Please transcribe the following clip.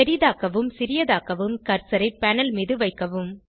பெரிதாக்குவும் சிறியதாக்கவும் கர்சரை பேனல் மீது வைக்கவும்